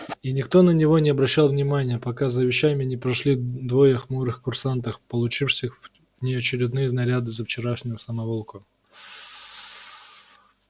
и никто на него не обращал внимания пока за вещами не пришли двое хмурых курсантах получивших внеочередные наряды за вчерашнюю самоволку